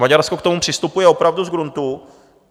Maďarsko k tomu přistupuje opravdu z gruntu.